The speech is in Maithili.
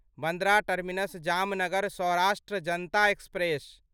Bandra terminus Jamnagar Saurashtra Janata express